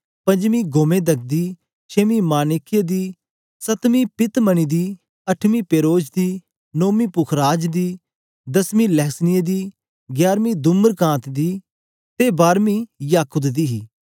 पंजमीं गोमेदक दी छेमी माणिक्य दी सतरमीं पीतमणि दी अठवीं पेरोज दी नोमी पुखराज दी दसमी लहसनिए दी ग्यारवीं धुम्रकांत दी ते बारमी याकुत दी हे